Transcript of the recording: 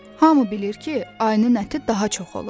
Hamı bilir ki, ayının əti daha çox olur.